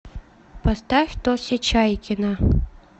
поставь тося чайкина